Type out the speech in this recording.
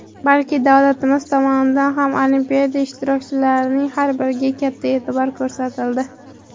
balki davlatimiz tomonidan ham Olimpiada ishtirokchilarining har biriga katta e’tibor ko‘rsatildi.